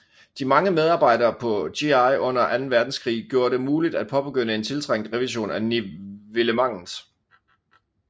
De mange medarbejdere på GI under Anden Verdenskrig gjorde det muligt at påbegynde en tiltrængt revision af nivellementet